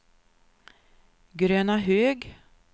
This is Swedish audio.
Grönahög